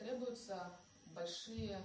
требуются большие